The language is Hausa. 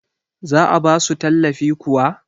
za a ba su tallafi kuwa?